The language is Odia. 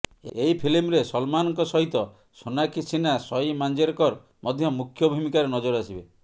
ଏହି ଫିଲ୍ମରେ ସଲମାନଙ୍କ ସହିତ ସୋନାକ୍ଷୀ ସିହ୍ନା ସଇ ମାଞ୍ଜେରକର ମଧ୍ୟ ମୁଖ୍ୟ ଭୂମୀକାରେ ନଜର ଆସିବେ